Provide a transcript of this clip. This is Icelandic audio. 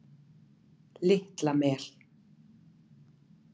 Litla Mel